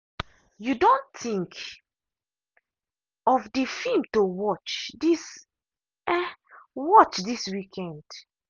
you don think of the film to watch this watch this weekend?